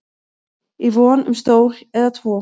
í von um stól eða tvo